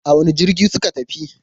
A wane jirgi suka tafi?